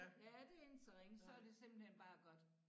Ja det ikke så ringe så det simpelthen bare godt